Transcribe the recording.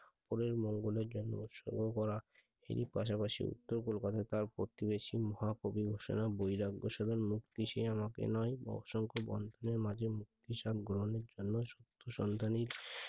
পরের মঙ্গোল এর জন্য সাধন করা এর পাশাপাশি উত্তর কলকাতা তার প্রতিবেশী মহাকবি সে না বৈরাগ্য সাধন মুক্তি সে আমাকে নয় সে অসংখ বন্ধনের মাঝে মুক্তির স্বাদ গ্রহনের জন্য সত্য সন্ধানের,